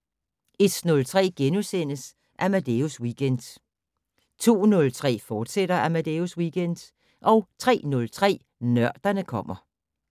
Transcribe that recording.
01:03: Amadeus Weekend * 02:03: Amadeus Weekend, fortsat 03:03: Nørderne kommer